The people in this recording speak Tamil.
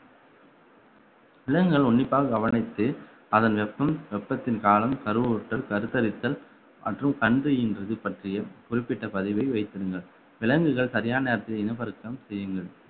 விலங்குகள் உன்னிப்பாக கவனித்து அதன் வெப்பம் வெப்பத்தின் காலம் கருவுற்றல் கருத்தரித்தல் மற்றும் கன்று ஈன்றது பற்றிய குறிப்பிட்ட பதிவை வைத்திடுங்கள் விலங்குகள் சரியான நேரத்தில் இனப்பெருக்கம் செய்யுங்கள்